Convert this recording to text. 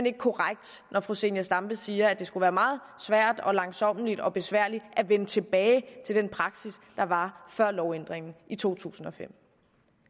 ikke korrekt når fru zenia stampe siger at det skulle være meget svært og langsommeligt og besværligt at vende tilbage til den praksis der var før lovændringen i to tusind og fem